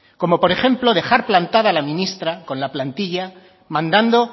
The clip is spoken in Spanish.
como por ejemplo dejar plantada a la ministra con la plantilla mandando